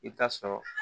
I bɛ taa sɔrɔ